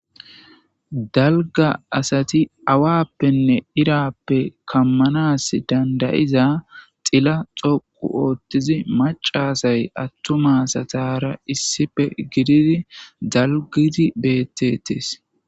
dalga asati awappenne irappe kammanas dandayiza xila xoqu ootthizi macasay attumasatara issife gididi dalgidi bettetees